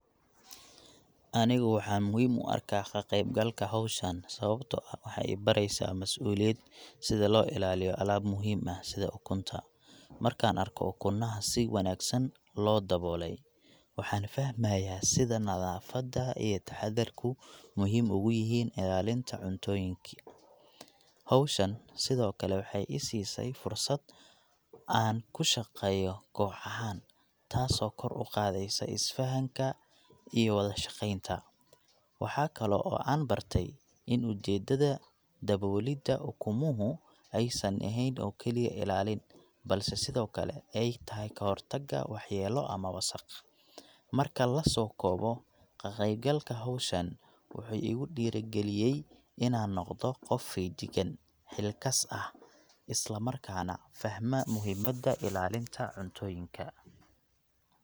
Aniga waxaan muhiim u arkaa kaqeyb galka howshan sababta oo ah waxeey ibareysaa masuuliyad sida loo ilaaliyo alaab muhiim ah sida ukunta, markaan arko ukuna si wanagsan loo daboole, waxaan fahmaaya sida nadafada iyo taxadarku muhiim aay uyihiin ilaalinta cuntooyinka, howshan sido kale waxeey isiisay fursad aan kushaqeeyo taas oo kor uqaadeyso is fahanka iyo wada shaqeenta, waxaa kale oo aan barte in ujeedada daboolida ukumuhu aay san eheen kaliya ilaalin balse sido kale aay tahay kahor taga wax yeelo ama wasaq, marka lasoo koobo kaqeyb galka howshan wuxuu igu diiri galiyay inaan noqdo qof feejigan, isla markaana fahma muhiimada ilaalinta cuntooyinka.